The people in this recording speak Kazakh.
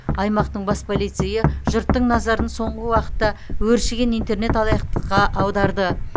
аймақтың бас полицейі жұрттың назарын соңғы уақытта өршіген интернет алаяқтыққа аударды